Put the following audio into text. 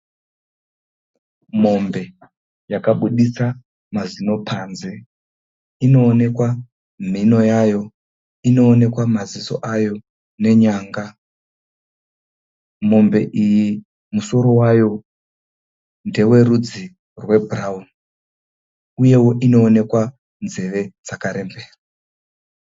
Mombe yakabuditsa mazino panze. Inoonekwa nhimo yayo, inoonekwa maziso ayo nenyanga. Mombe iyi musoro wayo ndewerudzi rwebhurauni. Uyewo inoonekwa nzeve dzakarembera.